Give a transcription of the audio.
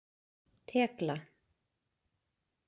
Tekla